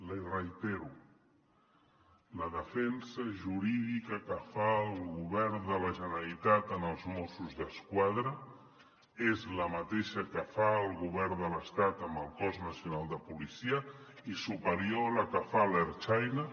l’hi reitero la defensa jurídica que fa el govern de la generalitat en els mossos d’esquadra és la mateixa que fa el govern de l’estat amb el cos nacional de policia i superior a la que fa l’ertzaintza